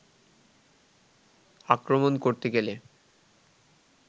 আক্রমণ করতে গেলে